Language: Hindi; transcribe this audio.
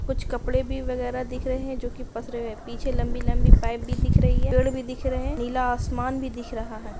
कुछ कपड़े भी वगेरा दिख रहे है जो कि पसरे हुए है पीछे लंबी-लंबी पाइप भी दिख रही है पेड़ भी दिख रहे हैं नीला आसमान भी दिख रहा है।